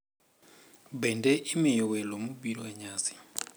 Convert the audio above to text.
Bende imiyo welo mobiro e nyasi